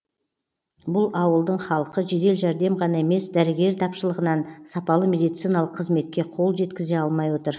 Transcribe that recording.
бұл ауылдың халқы жедел жәрдем ғана емес дәрігер тапшылығынан сапалы медициналық қызметке қол жеткізе алмай отыр